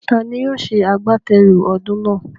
Taani yóò ṣe àgbátẹrù ọdún náà?